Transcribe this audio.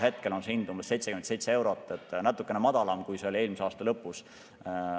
Hetkel on see umbes 77 eurot, natukene madalam, kui see oli eelmise aasta lõpus.